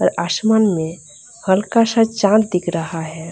आसमान में हल्का सा चाँद दिख रहा है।